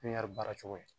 baara cogo ye